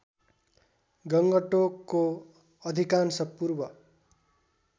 गङ्गटोकको अधिकांश पूर्व